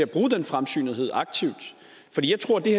bruge den fremsynethed aktivt for jeg tror at det